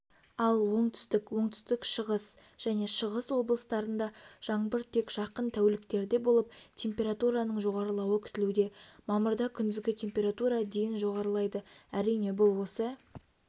ал оңтүстік оңтүстік-шығыс және шығыс облыстарында жаңбыр тек жақын тәуліктерде болып температураның жоғарлауы күтілуде мамырдакүндізгітемпература дейін жоғарылайды әрине бұл осы